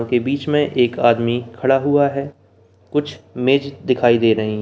के बीच में एक आदमी खड़ा हुआ है कुछ मेज़ दिखाई द रही है।